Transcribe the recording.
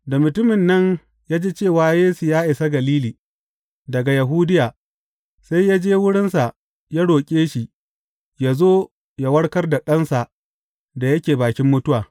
Da mutumin nan ya ji cewa Yesu ya isa Galili daga Yahudiya, sai ya je wurinsa ya roƙe shi yă zo yă warkar da ɗansa da yake bakin mutuwa.